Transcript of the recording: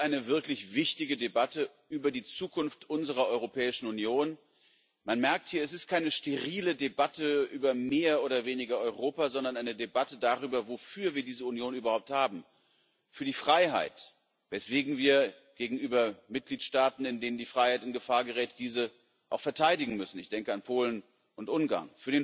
Das ist eine wirklich wichtige Debatte über die Zukunft unserer Europäischen Union. Man merkt hier Es ist keine sterile Debatte über mehr oder weniger Europa, sondern eine Debatte darüber, wofür wir diese Union überhaupt haben für die Freiheit, weswegen wir gegenüber Mitgliedstaaten, in denen die Freiheit in Gefahr gerät, diese auch verteidigen müssen ich denke an Polen und Ungarn.